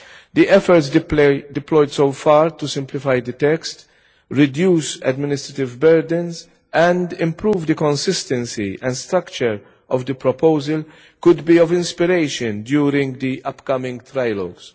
The efforts deployed so far to simplify the text, reduce administrative burdens and improve the consistency and structure of the proposal could be of inspiration during the upcoming trilogues.